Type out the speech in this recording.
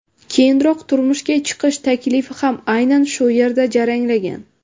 Keyinroq turmushga chiqish taklifi ham aynan shu yerda jaranglagan.